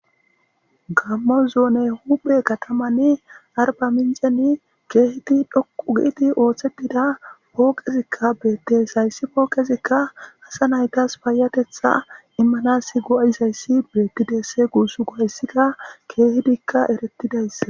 Gammo zoone huphe katamanni arba minceni keehiti dhoqugiidi ooththedida pooqezikka beettes hayssi pooqezikka asa naytas payatetha immanasi go7aizayssi beetti deesse guuss go7ayssika keehidikka erettidayss